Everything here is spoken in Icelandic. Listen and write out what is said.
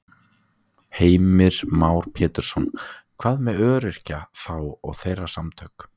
Heimir Már Pétursson: Hvað með öryrkja þá og þeirra samtök?